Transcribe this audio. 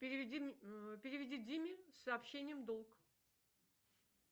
переведи диме с сообщением долг